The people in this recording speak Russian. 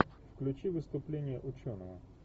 включи выступление ученого